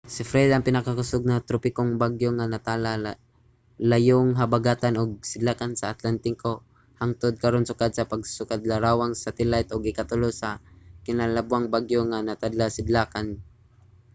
si fred ang pinakakusog nga tropikong bagyo nga natala sa layong habagatan ug sidlakan sa atlantiko hangtod karon sukad sa pagsugod sa larawang satelayt ug ikatulo lamang kinalabwang bagyo nga natala sidlakan sa 35â°w